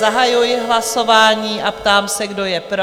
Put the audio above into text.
Zahajuji hlasování a ptám se, kdo je pro?